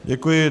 Děkuji.